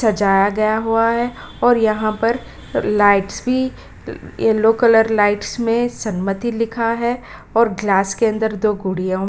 सजाया गया हुआ है और यहाँ पर लाइट्स भी येलो कलर लाइट्स में सममति लिखा है और ग्लास के अंदर दो गुड़ियों --